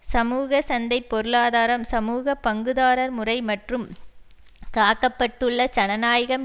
சமூக சந்தை பொருளாதாரம் சமூக பங்குதாரர்முறை மற்றும் காக்கப்பட்டுள்ள ஜனநாயகம்